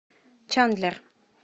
чандлер